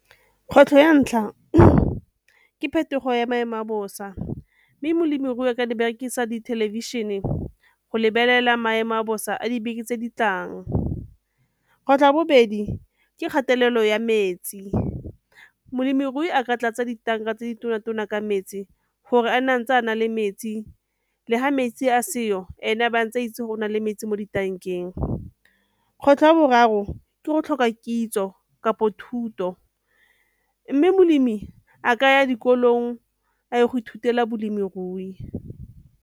Kgwetlho ya ntlha ke phetogo ya maemo a bosa mme molemirui a ka di berekisa di thelebišene go lebelela maemo a bosa a dibeke tse di tlang. Tlhwatlhwa ya bobedi ke kgatelelo ya metsi, molemirui a ka tlatsa ditanka tse di tona-tona ka metsi gore a nne ntse a na le metsi le ga metsi a seo ene a ba a ntse a itse go na le metsi mo ditankeng. Kgwetlho ya boraro ke go tlhoka kitso kapo thuto, mme molemi a ka ya dikolong a ye go ithutela bolemirui.